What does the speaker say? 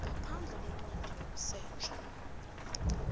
ngaphandle kwencwadi yokusetjha